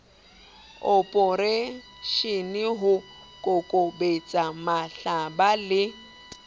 oporeishene ho kokobetsa mahlaba le